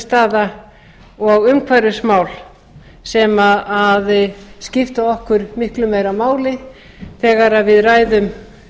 staða og umhverfismál sem skipta okkur miklu meira máli þegar við ræðum